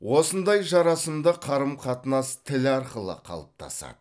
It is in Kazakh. осындай жарасымды қарым қатынас тіл арқылы қалыптасады